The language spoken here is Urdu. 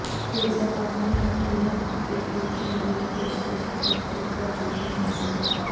انضمام الحق انڈین کرکٹ لیگ کھیلنے کی پیشکش کی تصدیق کر چکے ہیں